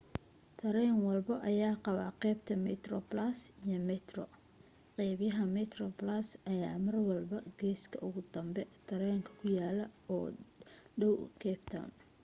tareen walbo ayaa qabaa qaybta metroplus iyo metro qaybaha metroplus ayaa marwalbo geeska ugu dambe tareenka ku yaalan oo u dhaw cape town